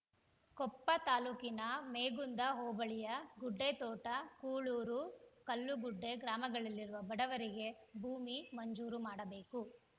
ಕೊಪ್ಪ ತಾಲೂಕಿನ ಮೇಗುಂದ ಹೋಬಳಿಯ ಗುಡ್ಡೆತೋಟ ಕೂಳೂರು ಕಲ್ಲುಗುಡ್ಡೆ ಗ್ರಾಮಗಳಲ್ಲಿರುವ ಬಡವರಿಗೆ ಭೂಮಿ ಮಂಜೂರು ಮಾಡಬೇಕು